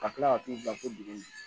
Ka tila ka t'u bila fo dugu in na